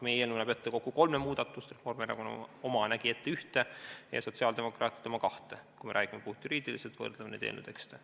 Meie eelnõu näeb ette kokku kolme muudatust, Reformierakonna oma nägi ette ühte, sotsiaaldemokraatide oma kahte, kui me räägime puhtjuriidiliselt ja võrdleme eelnõu tekste.